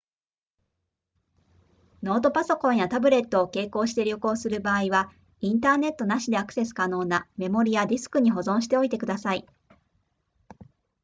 ノートパソコンやタブレットを携行して旅行する場合はインターネットなしでアクセス可能なメモリやディスクに保存しておいてください